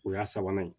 O y'a sabanan ye